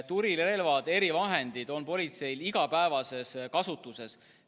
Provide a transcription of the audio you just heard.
Tulirelvad, erivahendid on politseil iga päev kasutuses.